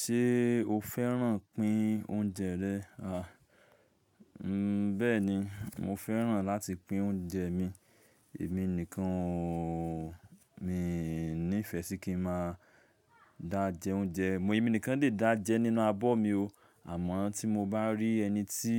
Ṣé o fẹ́ràn pín oúnjẹ rẹ? À, bẹ́ẹ̀ni, mo fẹ́ràn láti pín oúnjẹ mi. Èmi nìkan ooo, mi ní ìfẹ́ sí kí n máa dá jẹ oúnjẹ. Mo, èmi nìkan lè dá jẹ nínú abọ́ mi o. Àmọ́ tí mo bá rí ẹni tí